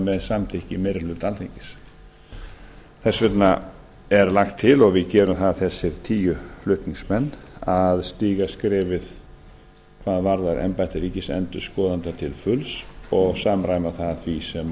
með samþykki meiri hluta alþingis þess vegna er lagt til og við gerum það þessir tíu flutningsmenn að stíga skrefið hvað varðar embætti ríkisendurskoðanda til fulls og samræma það því sem